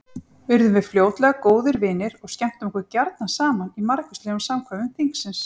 Urðum við fljótlega góðir vinir og skemmtum okkur gjarna saman í margvíslegum samkvæmum þingsins.